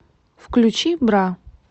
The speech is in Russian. включи бра